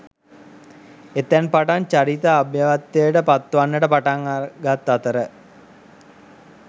එතැන් පටන් චරිත අභව්‍යත්වයට පත්වන්නට පටන් ගත් අතර